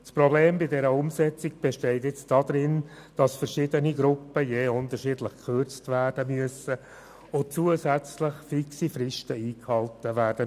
Das Problem bei der Umsetzung besteht nun darin, dass bei verschiedenen Gruppen je unterschiedlich gekürzt werden muss und zusätzlich fixe Fristen einzuhalten sind.